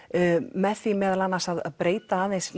með því meðal annars að breyta aðeins